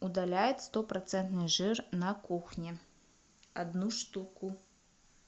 удаляет сто процентный жир на кухне одну штуку